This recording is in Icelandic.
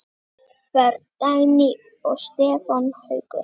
Börn: Dagný og Stefán Haukur.